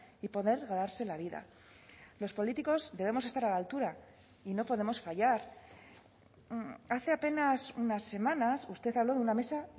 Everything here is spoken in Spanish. y poder ganarse la vida los políticos debemos estar a la altura y no podemos fallar hace apenas unas semanas usted habló de una mesa